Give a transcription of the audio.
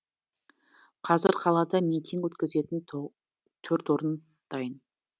қазір қалада митинг өткізетін төрт орын дайын